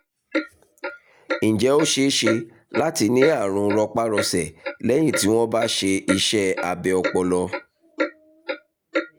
ǹjẹ́ ó ṣeé ṣe láti ní àrùn rọpárọsẹ̀ lẹ́yìn tí wọ́n bá ṣe iṣẹ́ abẹ ọpọlọ?